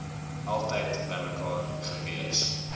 altyd bymekaar gewees